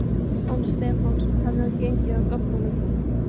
Án Stefáns hefði hann gengið af göflunum.